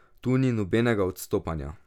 Tu ni nobenega odstopanja.